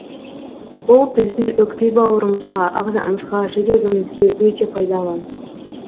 бұл біздің өкпе бауырымызға ағзамызға жүрегімізге өте пайдалы